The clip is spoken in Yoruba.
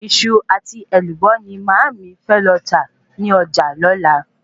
Iṣu àti Èlùbọ́ ni màámi fẹ lọ tà ní ọjà lọ́la